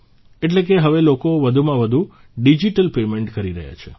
એટલે કે હવે લોકો વધુમાં વધુ ડીજીટલ પેમેન્ટ કરી રહ્યા છે